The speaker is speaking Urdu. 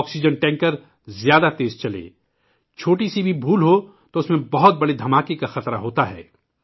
آکسیجن ٹینکر زیادہ تیز چلے، چھوٹی چھوٹی سی غلطی بھی ہو تو اس میں ایک بہت ہی بڑے دھماکے کا خطرہ ہوتا ہے